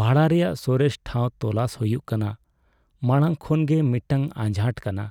ᱵᱷᱟᱲᱟ ᱨᱮᱭᱟᱜ ᱥᱚᱨᱮᱥ ᱴᱷᱟᱶ ᱛᱚᱞᱟᱥ ᱦᱩᱭᱩᱜ ᱠᱟᱱᱟ ᱢᱟᱲᱟᱝ ᱠᱷᱚᱱ ᱜᱮ ᱢᱤᱫᱴᱟᱝ ᱟᱡᱷᱟᱴ ᱠᱟᱱᱟ,